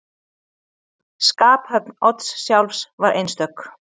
Skaphöfn Odds sjálfs var einstök.